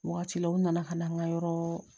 Wagati la u nana ka na an ka yɔrɔɔ